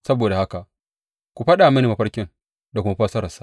Saboda haka ku faɗa mini mafarkin da kuma fassararsa.